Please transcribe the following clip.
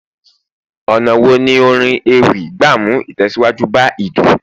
ọnà wo ni orin ewì gba mu itẹsiwaju ba ilu